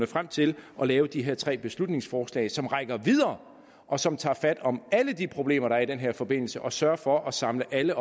frem til at lave de her tre beslutningsforslag som rækker videre og som tager fat om alle de problemer der er i den her forbindelse og sørger for at samle alle